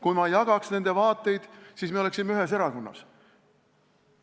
Kui ma jagaks nende vaateid, siis me oleksime ühes erakonnas.